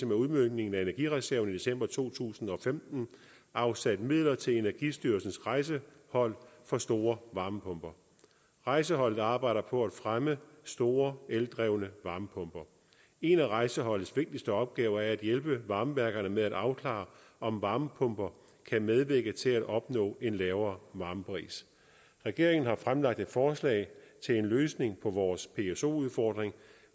med udmøntningen af energireserven i december to tusind og femten afsat midler til energistyrelsens rejsehold for for store varmepumper rejseholdet arbejder på at fremme store eldrevne varmepumper en af rejseholdets vigtigste opgaver er at hjælpe varmeværkerne med at afklare om varmepumper kan medvirke til at opnå en lavere varmepris regeringen har fremlagt et forslag til en løsning på vores pso udfordring